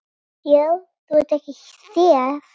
Já þú en ekki þér!